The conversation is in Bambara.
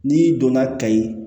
N'i donna kayi